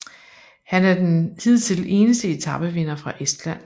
Han er den hidtil eneste etapevinder fra Estland